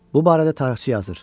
Bu barədə tarixçi yazır: